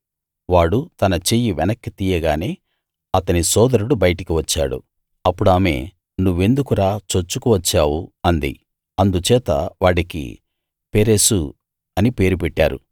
వాడు తన చెయ్యి వెనక్కి తీయగానే అతని సోదరుడు బయటికి వచ్చాడు అప్పుడామె నువ్వెందుకురా చొచ్చుకు వచ్చావు అంది అందుచేత వాడికి పెరెసు అని పేరు పెట్టారు